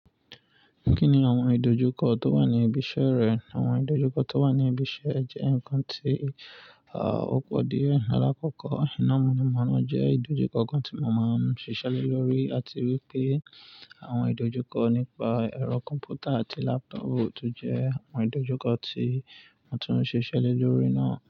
Kí ni àwọn ìdojúkọ tó wà ní ibi iṣẹ́ rẹ? Àwọn ìdojúkọ tó wà ní ibi iṣẹ́ jẹ́ nǹkan tí, à, ó pọ̀ díẹ̀. Láàkọ́kọ́, iná mọ̀nàmọ́ná jẹ́ ìdojúkọ kan tí mo máa ń ṣiṣẹ́ lórí, àti wípé àwọn ìdojúkọ nípa ẹ̀rọ kọ̀m̀pútà àti lápútọ̀pù jẹ́ àwọn ìdojúkọ tí mo tún ń ṣiṣẹ́ le lórí náà.